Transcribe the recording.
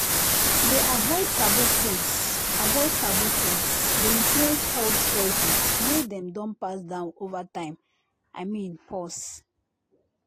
to dey avoid taboo foods avoid taboo foods dey influence health choices wey dem don pass down over time i mean pause